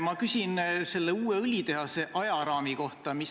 Ma küsin ka uue õlitehase ajaraami kohta.